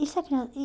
e se a